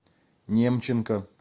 немченко